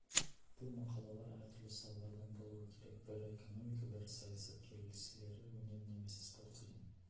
бұл мақалалар әр түрлі салалардан болуы керек бірі экономика бірі саясат келесілері өнер немесе спорт деген